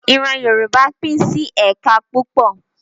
Ìran Yorùbá pín sí ẹ̀ka púpọ̀